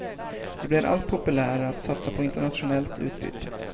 Det blir allt populärare att satsa på internationellt utbyte.